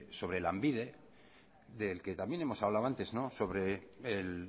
sobre lanbide del que también hemos hablado antes sobre el